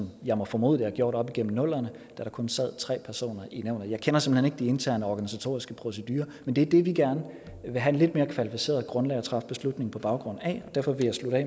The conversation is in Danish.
jeg må formode de har gjort op gennem nullerne da der kun sad tre personer i nævnet jeg kender simpelt hen ikke de interne organisatoriske procedurer men det er det vi gerne vil have et lidt mere kvalificeret grundlag at træffe beslutning på baggrund af derfor vil jeg slutte af